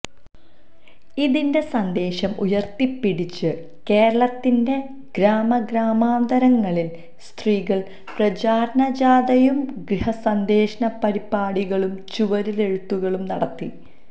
ഇതിന്റെ സന്ദേശം ഉയർത്തിപ്പിടിച്ച് കേരളത്തിന്റെ ഗ്രാമഗ്രാമാന്തരങ്ങളിൽ സ്ത്രീകൾ പ്രചാരണജാഥയും ഗൃഹസന്ദർശനപരിപാടികളും ചുവരെഴുത്തുകളും നടത്തി